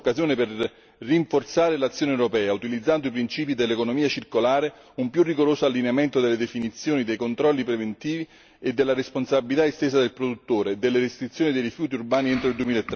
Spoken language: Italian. È la nostra occasione per rinforzare l'azione europea, utilizzando i principi dell'economia circolare, un più rigoroso allineamento delle definizioni e dei controlli preventivi e della responsabilità estesa del produttore, delle restrizioni dei rifiuti urbani entro il